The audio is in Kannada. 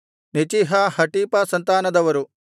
ನೆಚೀಹ ಹಟೀಫ ಸಂತಾನದವರು